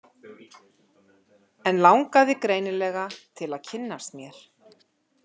En langaði greinilega til að kynnast mér.